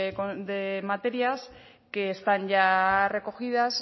de materias que están ya recogidas